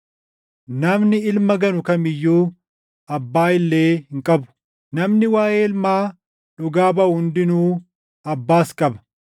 Namni Ilma ganu kam iyyuu Abbaa illee hin qabu; namni waaʼee Ilmaa dhugaa baʼu hundinuu Abbaas qaba.